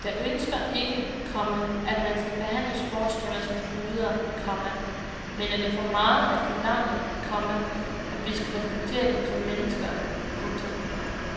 Jeg ønsker ikke, komma at man skal behandle sportsstjerner som guder, komma men er det for meget at forlange, komma at vi skal respektere dem som mennesker. punktum